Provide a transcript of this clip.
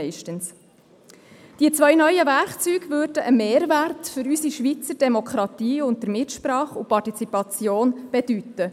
Die beiden neuen Werkzeuge würden einen Mehrwert für unsere Schweizer Demokratie sowie mehr Mitsprache und Partizipation bedeuten.